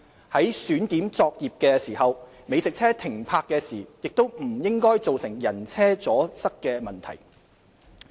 在選點作業的時候，美食車停泊時亦不應造成人車阻塞等問題。